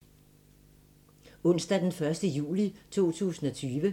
Onsdag d. 1. juli 2020